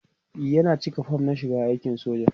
e Yana cika form na shiga aikin soja